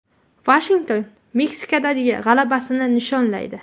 Vashington Meksikadagi g‘alabasini nishonlaydi.